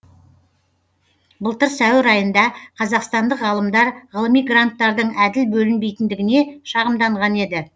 былтыр сәуір айында қазақстандық ғалымдар ғылыми гранттардың әділ бөлінбейтіндігіне шағымданған еді